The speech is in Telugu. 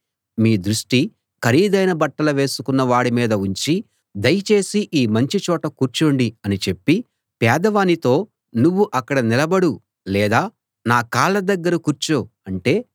మీ దృష్టి ఖరీదైన బట్టలు వేసుకున్నవాడి మీద ఉంచి దయచేసి ఈ మంచి చోట కూర్చోండి అని చెప్పి పేదవానితో నువ్వు అక్కడ నిలబడు లేదా నా కాళ్ళ దగ్గర కూర్చో అంటే